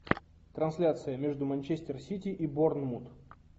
трансляция между манчестер сити и борнмут